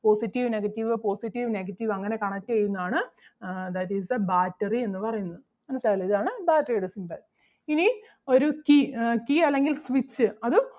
positive negative positive negative അങ്ങനെ connect ചെയ്യുന്നത് ആണ് ah that is the battery എന്ന് പറയുന്നത് മനസ്സിലായല്ലോ ഇതാണ് battery ടെ symbol. ഇനി ഒരു key ആഹ് key അല്ലെങ്കിൽ switch അത്